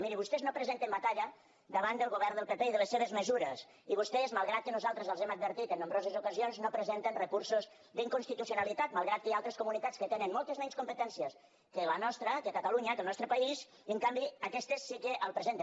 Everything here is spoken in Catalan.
mirin vostès no presenten batalla davant del govern del pp i de les seves mesures i vostès malgrat que nosaltres els ho hem advertit en nombroses ocasions no presenten recursos d’inconstitucionalitat malgrat que hi ha altres comunitats que tenen moltes menys competències que la nostra que catalunya que el nostre país i en canvi aquestes sí que els presenten